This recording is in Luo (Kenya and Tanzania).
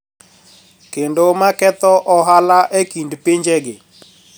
Kendo maketho ohala e kind pinjegi